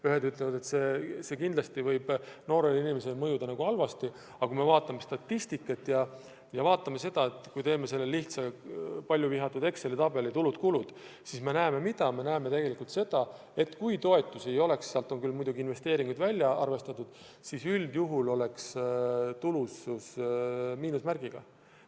Ühed ütlevad, et kindlasti võib see noorele inimesele halvasti mõjuda, aga kui me vaatame statistikat, kui me vaatame seda lihtsat paljuvihatud Exceli tabelit tulude-kuludega, siis me näeme tegelikult seda, et kui toetusi ei oleks –sealt on küll muidugi investeeringud välja arvatud –, siis üldjuhul oleks tulusus miinusmärgiga.